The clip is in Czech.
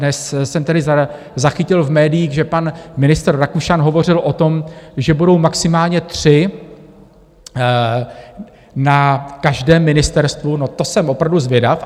Dnes jsem tedy zachytil v médiích, že pan ministr Rakušan hovořil o tom, že budou maximálně tři na každém ministerstvu, no to jsem opravdu zvědav.